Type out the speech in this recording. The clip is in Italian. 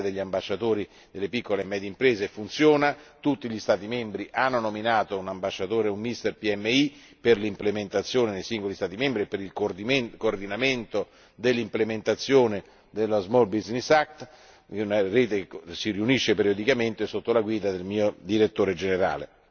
La rete degli ambasciatori delle piccole e medie imprese funziona, tutti gli Stati membri hanno nominato un ambasciatore, un mister PMI per l'implementazione nei singoli Stati membri e per il coordinamento dell'implementazione dello Small business act una rete che si riunisce periodicamente sotto la guida del mio direttore generale.